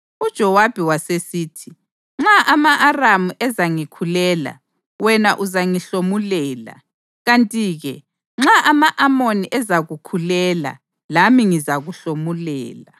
UJowabi wasesithi, “Nxa ama-Aramu ezangikhulela, wena uzangihlomulela; kanti-ke nxa ama-Amoni ezakukhulela lami ngizakuhlomulela.